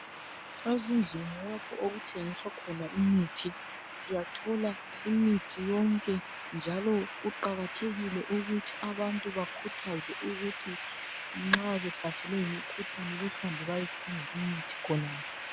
Ezindlini lapho okuthengiswa khona imithi siyathola imithi yonke njalo kuqakathekile ukuthi abantu bakhuthazwe ukuthi nxa behlaselwe ngumkhuhlane bahambe bayedinga imithi khona